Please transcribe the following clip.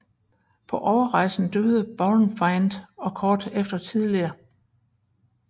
På overrejsen døde Baurenfeind og kort efter tillige dr